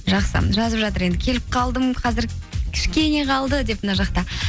жақсы жазып жатыр енді келіп қалдым қазір кішкене қалды деп мына жақта